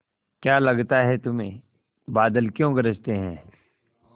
क्या लगता है तुम्हें बादल क्यों गरजते हैं